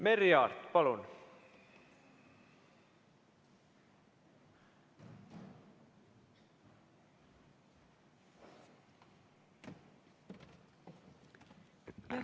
Merry Aart, palun!